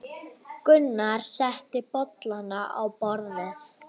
Gunnar setti bollana á borðið.